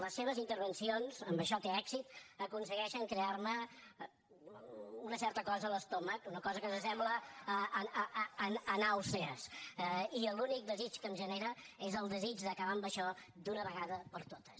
les seves intervencions en això té èxit aconsegueixen crear me una certa cosa a l’estómac una cosa que s’assembla a les nàusees i l’únic desig que em generen és el desig d’acabar amb això d’una vegada per totes